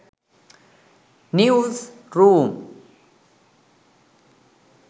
news room